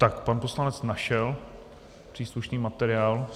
Tak pan poslanec našel příslušný materiál.